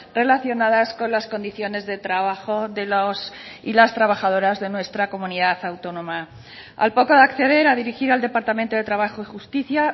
relacionadas con las condiciones de trabajo de los y las trabajadoras de nuestra comunidad autónoma al poco de acceder a dirigir al departamento de trabajo y justicia